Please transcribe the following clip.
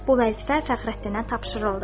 Bu vəzifə Fəxrəddinə tapşırıldı.